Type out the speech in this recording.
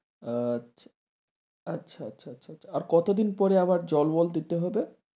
আচ্ছা আচ্ছা আচ্ছা আচ্ছা আচ্ছা আচ্ছা আর কতদিন পরে আবার জল মল দিতে হবে?